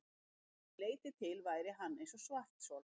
Að því leytinu til væri hann eins og svarthol.